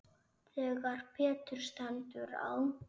Þegar betur stendur á